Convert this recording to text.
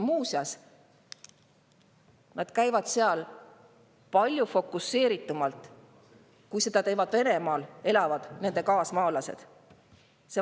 Muuseas, nad palju fokuseeritumalt, kui seda teevad nende Venemaal elavad.